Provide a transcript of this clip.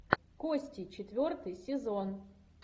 кости четвертый сезон